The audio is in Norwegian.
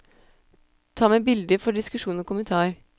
Ta med bilder for diskusjon og kommentar.